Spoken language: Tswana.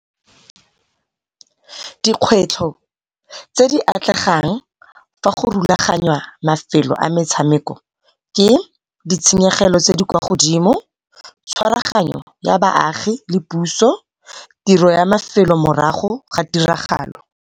Dikgwetlho tse di atlegang fa go rulagangwa mafelo a metshameko ke ditshenyegelo tse di kwa godimo, tshwaragano ya baagi le puso, tiro ya mafelo morago ga tiragalo.